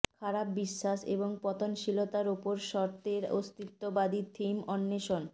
খারাপ বিশ্বাস এবং পতনশীলতার উপর সর্তের অস্তিত্ববাদী থিম অন্বেষণ